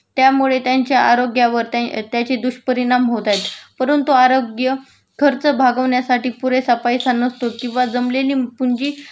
त्यामुळे त्यांच्या आरोग्यावर त्याचे दुष्परिणाम होत आहेत.परंतु आरोग्य खर्च भागवण्यासाठी पुरेसा पैस नसतो किंवा जमलेली पुंजी